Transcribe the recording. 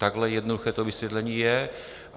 Takhle jednoduché to vysvětlení je.